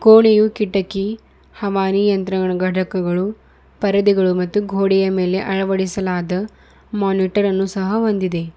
ಕೊಣೆಯು ಕಿಟಕಿ ಹಮಾರಿ ಯಂತ್ರಗಳ ಘಟಕಗಳು ಪರದೆಗಳು ಮತ್ತು ಗೋಡೆಯ ಮೇಲೆ ಅಳವಡಿಸಲಾದ ಮಾನಿಟರ್ ಅನ್ನು ಸಹ ಹೊಂದಿದೆ.